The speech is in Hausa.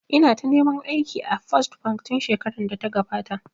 Ina ta neman aiki a First bank tun shekarar da ta gabata